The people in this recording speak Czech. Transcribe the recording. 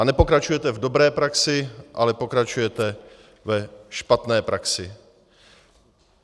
A nepokračujete v dobré praxi, ale pokračujete ve špatné praxi.